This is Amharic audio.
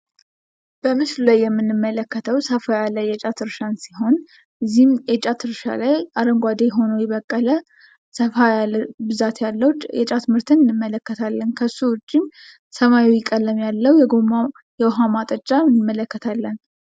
በምስሉ ላይ የምንመለከተው ሰፋ ያለ የጫት እርሻን ሲሆን በዚህም የጫት እርሻ ላይ አረንጓዴ ሆኖ የበቀለ ሰፋ ያለ ብዛት ያለው የጫት ምርትን እንመለከታለን ።ከሱ ውጪ ሰማያዊ ቀለም ያለው የጎማ የውሃ ማጠጫ እንመለከታለን ።